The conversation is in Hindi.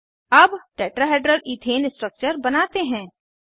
अब टेट्राहेड्रल इथेन स्ट्रक्चर बनाते हैं